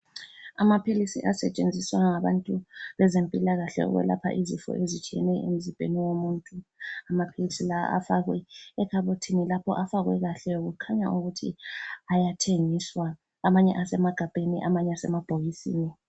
Amaphilisi asetshenziswa ngabantu bezempilakahle ukwelapha izifo ezitshiyeneyo emzimbeni womuntu, amaphilisi lawa afakwe ekhabothini lapho afakwe kahle kukhanya ukuthi ayathengiswa amanye asemagabheni amanye asemabhokisini.